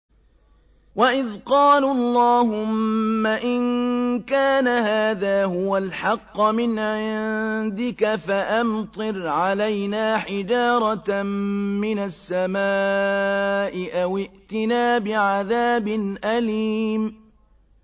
وَإِذْ قَالُوا اللَّهُمَّ إِن كَانَ هَٰذَا هُوَ الْحَقَّ مِنْ عِندِكَ فَأَمْطِرْ عَلَيْنَا حِجَارَةً مِّنَ السَّمَاءِ أَوِ ائْتِنَا بِعَذَابٍ أَلِيمٍ